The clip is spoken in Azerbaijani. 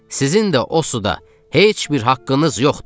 Sizin də o suda heç bir haqqınız yoxdur.